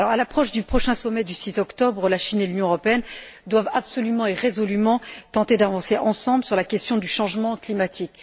À l'approche du prochain sommet du 6 octobre, la Chine et l'Union européenne doivent absolument et résolument tenter d'avancer ensemble sur la question du changement climatique.